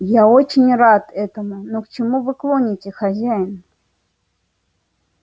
я очень рад этому но к чему вы клоните хозяин